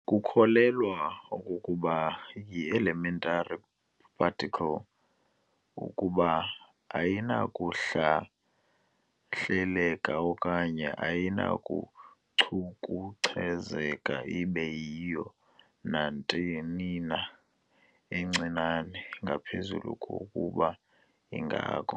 Kukholelwa okokuba yielementary particle kuba ayinakuhlahleleka okanye ayinakucukucezeka ibe yiyo nantonina encinane ngaphezu kokuba ingako.